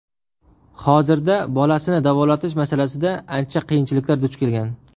Hozirda bolasini davolatish masalasida ancha qiyinchilikka duch kelgan.